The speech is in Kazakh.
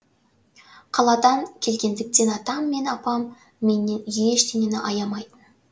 қаладан келгендіктен атам мен апам менен ештеңені аямайтын